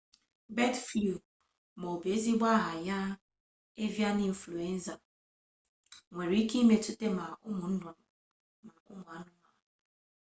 bird flu ma ọ bụ ezigbo aha ya avian influenza nwere ike imetụta ma ụmụ nnụnụ ma ụmụ anụmanụ